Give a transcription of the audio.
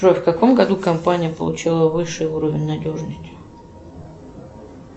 джой в каком году компания получила высший уровень надежности